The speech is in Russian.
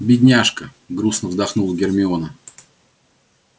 бедняжка грустно вздохнула гермиона